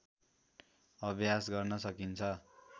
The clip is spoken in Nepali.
अभ्यास गर्न सकिन्छ